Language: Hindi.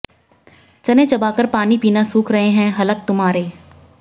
चने चबाकर पानी पीना सूख रहे हैं हलक तुम्हारे